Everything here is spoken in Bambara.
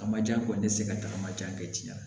A ma jan kɔni ne tɛ se ka tagama kɛ tiɲɛ na